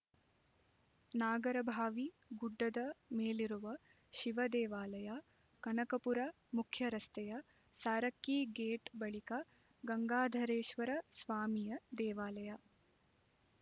ನಾಗರಭಾವಿ ಗುಡ್ಡದ ಮೇಲಿರುವ ಶಿವದೇವಾಲಯ ಕನಕಪುರ ಮುಖ್ಯರಸ್ತೆಯ ಸಾರಕ್ಕಿ ಗೇಟ್ ಬಳಿಕ ಗಂಗಾಧರೇಶ್ವರ ಸ್ವಾಮಿಯ ದೇವಾಲಯ